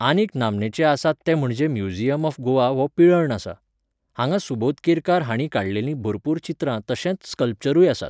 आनीक नामनेचे आसात ते म्हणजे म्यूजियम ऑफ गोवा हो पिलेर्ण आसा. हांगा सुबोध केरकार हांणी काडलेलीं भरपूर चित्रां तशेंत स्कल्पचरुय आसात.